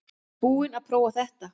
Búinn að prófa þetta